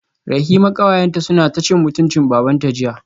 Rahima kawayenta sunce taci mutuncin babanta jiya